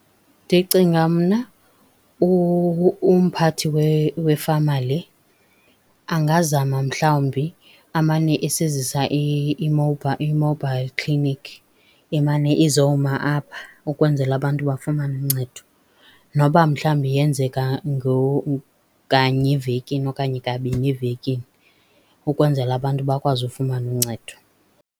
Ndicinga mna umphathi wefama le angazama mhlawumbi amane esizisa i-mobile clinic imane izawuma apha ukwenzela abantu bafumane uncedo. Noba mhlawumbi yenzeka kanye evekeni okanye kabini evekini, ukwenzela abantu bakwazi ukufumana uncedo.